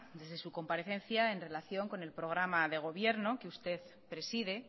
desde su comparecencia en relación con el programa de gobierno que usted preside